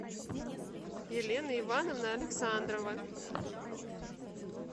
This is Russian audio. елена ивановна александрова